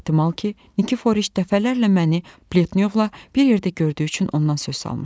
Ehtimal ki, Nikiforiç dəfələrlə məni Pletnyovla bir yerdə gördüyü üçün ondan söz salmışdı.